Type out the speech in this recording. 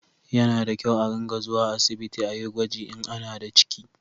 Ya na da kyau a ringa zuwa asibiti a yi gwaji in ana da ciki